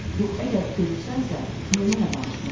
Yaxud əgər görürsənsə, niyə mənə danışmırsan?